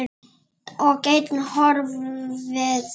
Og ein horfði á pabba.